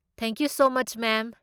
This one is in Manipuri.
Thank you so much, ma'am.